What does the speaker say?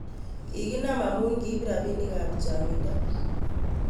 Kikinam amun kiip rapinik ap changinta